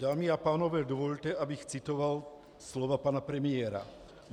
Dámy a pánové, dovolte, abych citoval slova pana premiéra.